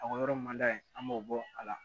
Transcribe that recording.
A ka yɔrɔ man d'a ye an b'o bɔ a la